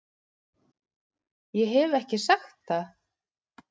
Ég hef ekki sagt það!